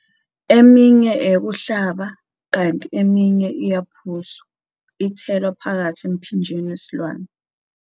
Eminye eyokuhlaba kanti eminye iyaphuzwa, ithelwa phakathi emphinjeni wesilwane.